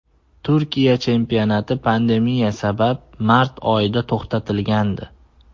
Turkiya chempionati pandemiya sabab mart oyida to‘xtatilgandi.